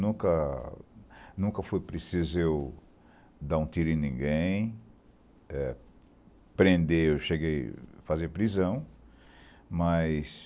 Nunca nunca foi preciso eu dar um tiro em ninguém, eh prender, eu cheguei a fazer prisão, mas...